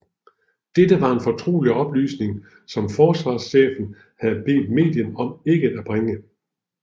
Dette var en fortrolig oplysning som forsvarschefen havde bedt mediet om ikke at bringe